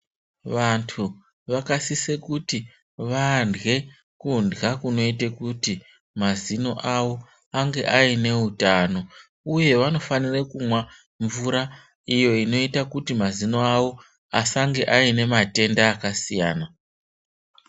Vantu vakasise kuti vandle kundla kunoite kuti mazino awo ange ayinehutano. Uye vanofanire kumwa mvura iyo inoita kuti mazino awo asange ayine matenda akasiyana.